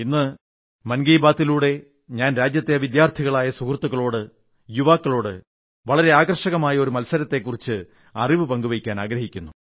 ഇന്ന് മൻ കീ ബാത്തിലൂടെ ഞാൻ രാജ്യത്തെ വിദ്യാർഥികളായ സുഹൃത്തുക്കളോട് യുവാക്കളോട് വളരെ ആകർഷകമായ ഒരു മത്സരത്തെക്കുറിച്ചുള്ള വിവരങ്ങൾപങ്കുവയ്ക്കാനാഗ്രഹിക്കുന്നു